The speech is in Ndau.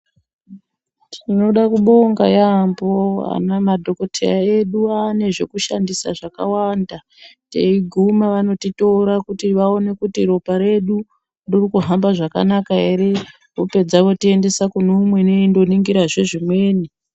Tinoda kubonga yaambo madhokodhetmya edu aane zvekushandisa zvakawanda teiguma vanotitora kuti vaone kuti ropa redu ririkuhamba zvakanaka vapedza votiendesa kune umweni veindoningirazve zvimweni.